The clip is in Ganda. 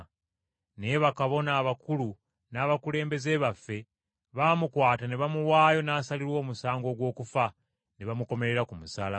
Naye bakabona abakulu n’abakulembeze baffe baamukwata ne bamuwaayo n’asalirwa omusango ogw’okufa, ne bamukomerera ku musaalaba.